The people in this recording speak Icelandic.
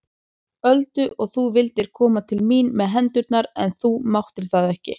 Öldu og þú vildir koma til mín með hendurnar en þú máttir það ekki.